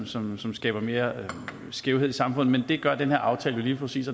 som som skaber mere skævhed i samfundet men det gør den her aftale jo lige præcis